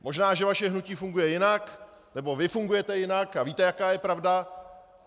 Možná že vaše hnutí funguje jinak nebo vy fungujete jinak a víte, jaká je pravda.